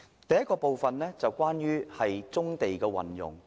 第一是有關棕地的運用。